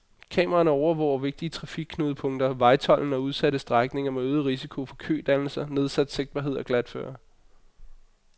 Kameraerne overvåger vigtige trafikknudepunkter, vejtolden og udsatte strækninger med øget risiko for kødannelser, nedsat sigtbarhed og glatføre.